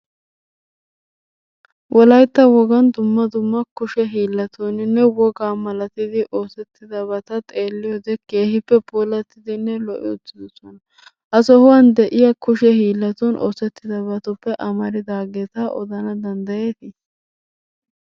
Wolaytta wogaan dumma dumma kushe hiillatuninne wogaa malattidi oosettidabata xeeliyode keehippe puulattidinne lo'i uttiddossona. Ha sohuwan de'iya kushe hiillatn oosetidabatuppe amaridaageeta odana danddayeeti?